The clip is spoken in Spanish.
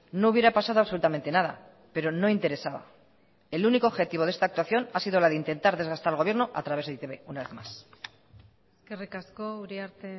no hubiera pasado absolutamente nada pero no interesaba el único objetivo de esta actuación ha sido la de intentar desgastar al gobierno a través de e i te be una vez más eskerrik asko uriarte